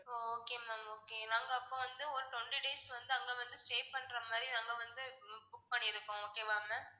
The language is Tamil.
ஓ okay ma'am okay நாங்க அப்போ வந்து ஒரு twenty days வந்து அங்க வந்து stay பண்ற மாதிரி நாங்க வந்து book பண்ணிருக்கோம் okay வா ma'am